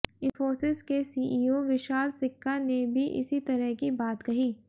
इंफोसिस के सीईओ विशाल सिक्का ने भी इसी तरह की बात कही